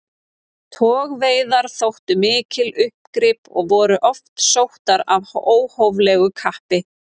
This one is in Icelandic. Togveiðar þóttu mikil uppgrip og voru oft sóttar af óhóflegu kappi.